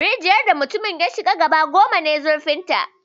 Rijiyar da mutumin ya shiga gaba goma ne zurfinta